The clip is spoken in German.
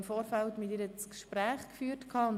Wir suchten im Vorfeld das Gespräch mit ihr.